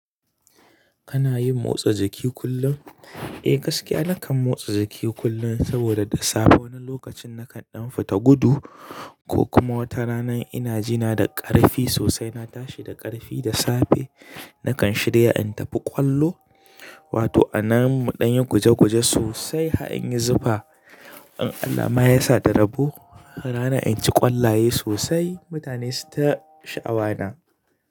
Kana yin motsa jiki kullum? Eh gaskiya nakan motsa jiki kullum saboda da safe wani lokacin nakan ɗan fita gudu ko kuma wata rana ina jina da ƙarfi sosai na tashi da ƙarfi da safe nakan shirya in tafi ƙwallo wato a nan mu ɗan yi guje guje sosai har in yi zufa. In Allah ma ya sa da rabo ranan inci ƙwallaye sosai mutane suyita sha'awa na.